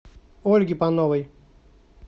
ольге пановой